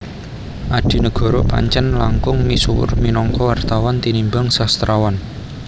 Adinegoro Pancèn langkung misuwur minangka wartawan tinimbang sastrawan